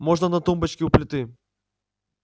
можно на тумбочке у плиты